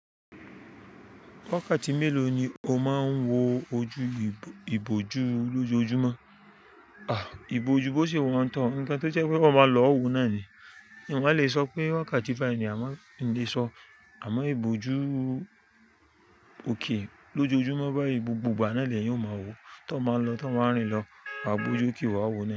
Wákàtí mélòó ni o máa ń wo ojú ìbòju lójoojúmọ́? À, ìbòju bó ṣe wọ́n tán, nǹkan tó jẹ́ pé wọn máa lọ wo náà ni. Ǹ ó lè sọ pé wákàtí fá ní a máa ń lè sọ. Àmọ́ ìbòju òkè lójoojúmọ́ bá ibùgbùgbà náà lè yẹn ó máa wo, tí wọ́n máa lọ, tí wọ́n máa rìn lọ, àwọn ìbòju òkè wa wo náà.